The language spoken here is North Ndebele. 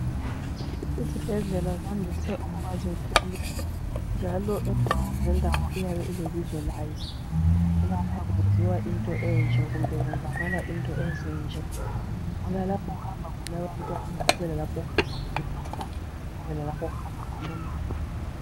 Izibhedlela zandise ukuba zinkulu .Njalo indawo ngendawo iyabe ilebizo layo ukuthi lapha kwenziwa into enje kumbe kwenzakala into ezinje. Kulalapho okuhamba khona abantwana ,kubelalapho okuhamba khona obaba ,kubelalapho okuhamba khona omama.